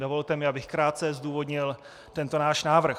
Dovolte mi, abych krátce zdůvodnil tento náš návrh.